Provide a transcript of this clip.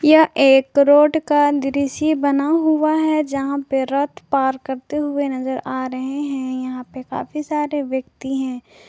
यह एक रोड का दृश्य बना हुआ है जहां पे रथ पार करते हुए नजर आ रहे हैं यहां पे काफी सारे व्यक्ति हैं।